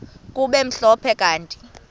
kube mhlophe kanti